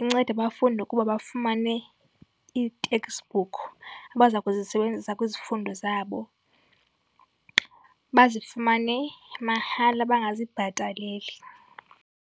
incede bafunde. Ukuba bafumane ii-textbook abaza kuzisebenzisa kwizifundo zabo, bazifumane mahala bangazibhataleli.